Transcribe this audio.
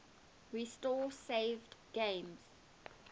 restore saved games